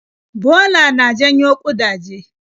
Bola na janyo ƙudaje.